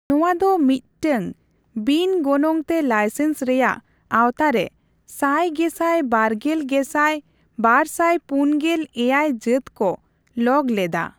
ᱱᱚᱣᱟ ᱫᱚ ᱢᱤᱫᱴᱟᱝ ᱵᱤᱱ ᱜᱚᱱᱚᱝᱛᱮ ᱞᱟᱭᱥᱮᱱᱥ ᱨᱮᱭᱟᱜ ᱟᱣᱛᱟᱨᱮ ᱥᱟᱭ ᱜᱮᱥᱟᱭ ᱵᱟᱨᱜᱮᱞ ᱜᱮᱥᱟᱭ ᱵᱟᱨᱥᱟᱭ ᱯᱩᱱᱜᱮᱞ ᱮᱭᱟᱭ ᱡᱟᱹᱛ ᱠᱚ ᱞᱚᱜ ᱞᱮᱫᱟ ᱾